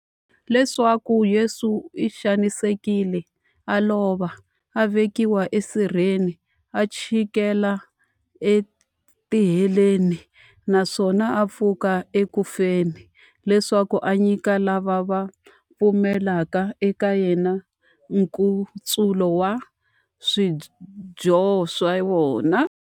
Leswaku Yesu u xanisekile, a lova, a vekiwa esirheni, a chikela etiheleni, naswona a pfuka eku feni, leswaku a nyika lava va pfumelaka eka yena, nkutsulo wa swidyoho swa vona.